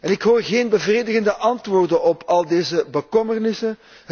En ik hoor geen bevredigende antwoorden op al deze bekommernissen.